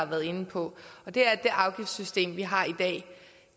været inde på og det er at det afgiftssystem vi har i dag